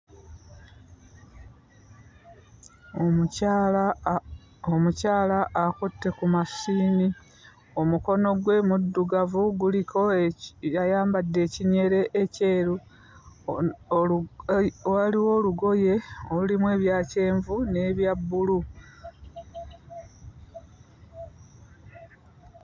Omukyala omukyala akutte ku 'mashini', omukono gwe muddugavu, guliko eki ayambadde ekinyere ekyeru, waliwo olugoye olulimu ebya kyenvu n'ebya bbulu.